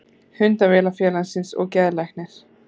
Hundavinafélagsins og geðlæknir.